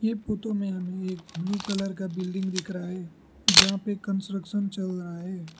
ये फोटो में हमे एक ब्लू कलर का बिल्डिंग दिख रहा है जहां पे कंस्ट्रक्शन चल रहा है।